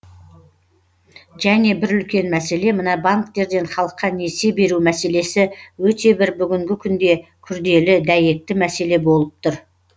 және бір үлкен мәселе мына банктерден халыққа несие беру мәселесі өте бір бүгінгі күнде күрделі дәйекті мәселе болып тұр